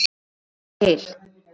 Ég fór til